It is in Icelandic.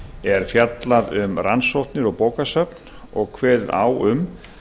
er fjallað um rannsóknir og bókasöfn og kveðið á um